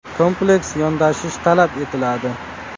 Kompleks yondashish talab etiladi.